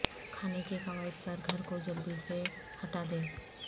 کھانے کے قواعد پر گھر کو جلدی سے ہٹا دیں